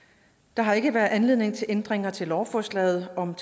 der har ikke været anledning til ændringer til lovforslaget om